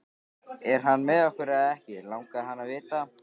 Er hann með okkur eða ekki? langaði hann að vita.